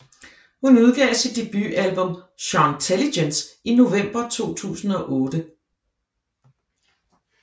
Hun udgav sit debutalbum Shontelligence i november 2008